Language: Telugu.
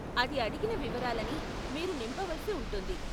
అది అడిగిన వివరాలని మీరు నింపవలసి ఉంటుంది.